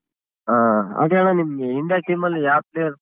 ಹಾ ಹಾಗೆ ಅಣ್ಣ ನಿಮ್ಗ್ India team ಅಲ್ಲಿ ಯಾವ್ players .